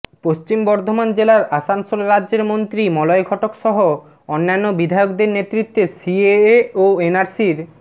পশ্চিম বর্ধমান জেলার আসানসোলে রাজ্যের মন্ত্রী মলয় ঘটক সহ অন্যান্য বিধায়কদের নেতৃত্বে সিএএ ও এনআরসির